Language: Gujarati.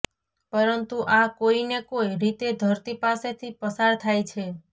પરંતુ આ કોઈને કોઈ રીતે ધરતી પાસેથી પસાર થાય છે